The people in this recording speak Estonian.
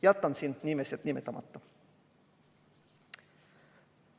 Jätan siin nimed nimetamata.